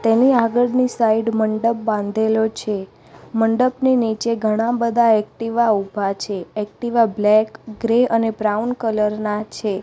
તેની આગળની સાઇડ મંડપ બાંધેલો છે મંડપની નીચે ઘણા બધા એક્ટિવા ઉભા છે એક્ટિવા બ્લેક ગ્રે અને બ્રાઉન કલર ના છે.